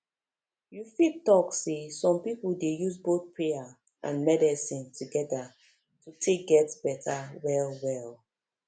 you fit talk say some people dey use both prayer and medicine together to take get better wellwell